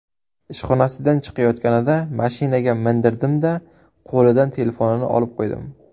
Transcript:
Ishxonasidan chiqayotganida mashinaga mindirdim-da, qo‘lidan telefonini olib qo‘ydim.